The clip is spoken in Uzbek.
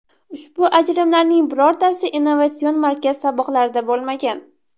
Ushbu ajrimlarning birortasi innovatsion markaz saboqlarida bo‘lmagan.